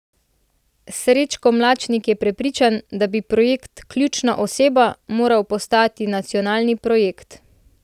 Srečko Mlačnik je prepričan, da bi projekt Ključna oseba moral postati nacionalni projekt.